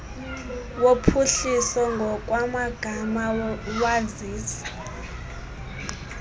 wophuhliso ngokwamagama wazisa